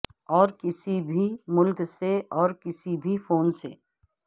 اور کسی بھی ملک سے اور کسی بھی فون سے